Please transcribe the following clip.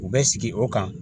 U bɛ sigi o kan